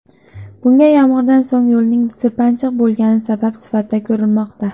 Bunga yomg‘irdan so‘ng yo‘lning sirpanchiq bo‘lgani sabab sifatida ko‘rilmoqda.